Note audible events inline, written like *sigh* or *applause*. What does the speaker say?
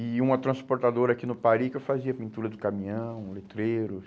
E uma transportadora aqui no, *unintelligible* que eu fazia pintura do caminhão, letreiros.